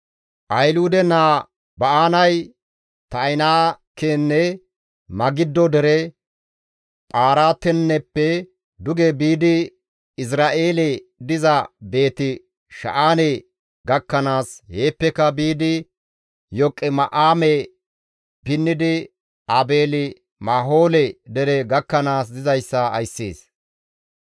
Ahiluude naa Ba7aanay Ta7inaakenne Magiddo dere, Phartaaneppe duge biidi Izra7eelen diza Beeti-Sha7aane gakkanaas, heeppeka biidi Yoqima7aame pinnidi Aabeeli-Mahoole dere gakkanaas dizayssa ayssees.